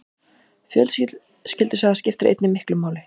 Fjölskyldusaga skiptir einnig miklu máli.